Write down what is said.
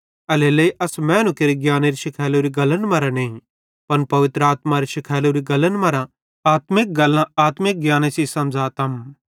एल्हेरेलेइ अस मैनू केरे ज्ञानेरी शिखैलोरी गल्लन मरां नईं पन पवित्र आत्मारे शिखैलोरी गल्लन मरां आत्मिक गल्लां आत्मिक ज्ञाने सेइं समझ़ातम